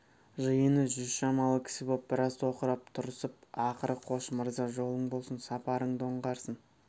жиыны жүз шамалы кісі боп біраз тоқырап тұрысып ақыры қош мырза жолың болсын сапарыңды оңғарсын